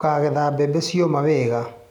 Tũkagetha bembe cioma wega.